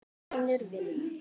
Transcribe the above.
Vinur vinar?